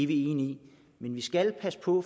vi enige i men vi skal passe på